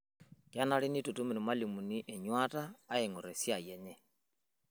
Kenare neitutum lmalimuni enyuata aang'or esiai enye